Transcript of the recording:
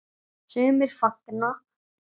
Sumir fagna.